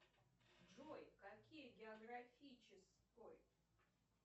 джой какие географической